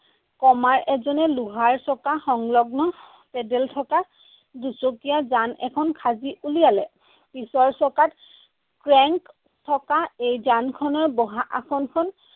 কমাৰ এজনে লোহাৰ চকা সংলগ্ন paddle থকা দুচকীয়া যান এখন সাজি উলিয়ালে। পিছৰ চকাত থকা এই যানখনৰ বহা আসনখন